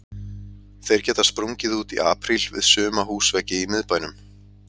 Þeir geta sprungið út í apríl við suma húsveggi í miðbænum.